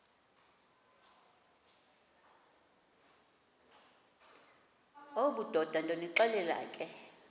obudoda ndonixelela ke